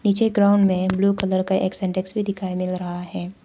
नीचे ग्राउंड में blue colour का एक सिंटेक्स भी दिखाई दे रहा है।